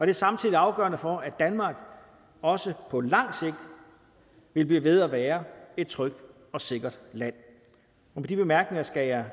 er samtidig afgørende for at danmark også på lang sigt vil blive ved at være et trygt og sikkert land med de bemærkninger skal jeg